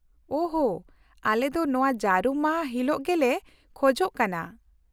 -ᱳᱦ ᱦᱳ, ᱟᱞᱮ ᱫᱚ ᱱᱚᱶᱟ ᱡᱟᱹᱨᱩᱢ ᱢᱟᱦᱟ ᱦᱤᱞᱤᱜ ᱜᱮᱞᱮ ᱠᱷᱚᱡᱚᱜ ᱠᱟᱱᱟ ᱾